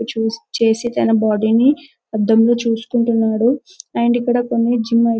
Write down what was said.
చూసి చేసి తన బాడీ నీ అధం లో చూసుకుంటున్నాడు అండ్ ఇక్కడ కొన్ని జిమ్ ఐటమ్స్ --